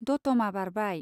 दतमा बारबाय।